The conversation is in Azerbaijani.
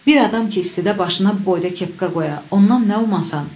Bir adam ki, istidə başına bu boyda kepka qoya, ondan nə umasan?